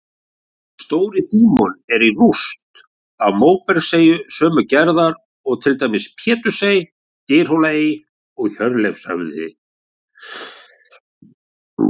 Stóri-Dímon er rúst af móbergseyju sömu gerðar og til dæmis Pétursey, Dyrhólaey og Hjörleifshöfði.